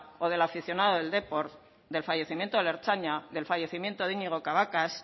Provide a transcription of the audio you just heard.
o del aficionado del depor del fallecimiento del ertzaina del fallecimiento de iñigo cabacas